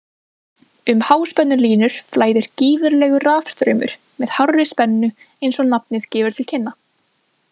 Um háspennulínur flæðir gífurlegur rafstraumur með hárri spennu eins og nafnið gefur til kynna.